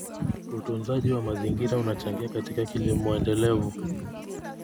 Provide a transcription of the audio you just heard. Utunzaji wa mazingira unachangia katika kilimo endelevu.